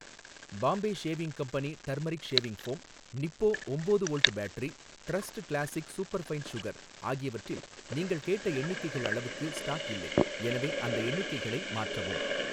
Bombay shaving company turmeric shaving foam, Nippo ஒம்போது volt battery, trust classic superfine sugar ஆகியவற்றில் நீங்கள் கேட்ட எண்ணிக்கைகள் அளவுக்கு ஸ்டாக் இல்லை, எனவே அந்த எண்ணிக்கைகளை மாற்றவும்